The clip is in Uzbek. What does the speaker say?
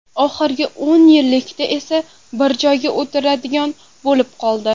Oxirgi o‘n yillikda esa bir joyda o‘tiradigan bo‘lib qoldi.